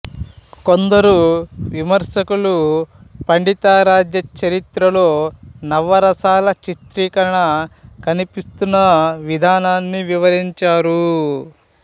కొందరు విమర్శకులు పండితారాధ్య చరిత్రలో నవరసాల చిత్రీకరణ కనిపిస్తున్న విధానాన్ని వివరించారు